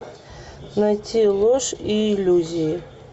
найти ложь и иллюзии